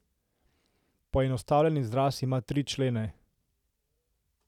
Poenostavljen izraz ima tri člene.